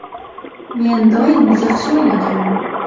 Men doim yaxshi o‘ynaganman.